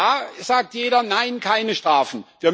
Da sagt jeder nein, keine Strafen.